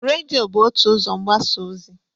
Redịo bụ otu ụzọ mgbasa ozi.